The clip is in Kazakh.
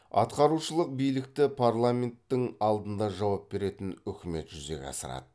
атқарушылық билікті парламенттің алдында жауап беретін үкімет жүзеге асырады